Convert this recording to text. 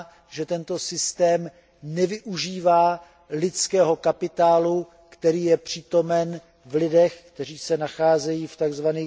že tento systém nevyužívá lidského kapitálu, který je přítomen v lidech, kteří se nacházejí v tzv.